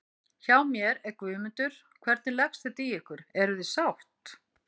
Hjá mér er Guðmundur, hvernig leggst þetta í ykkur, eruð þið sátt?